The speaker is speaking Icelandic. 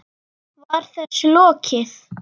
Var þessu lokið?